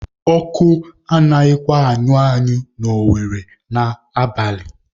Ọkụ anaghịkwa anyụ anyụ na Owere n'abalị